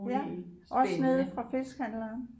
Ja også nede fra fiskehandleren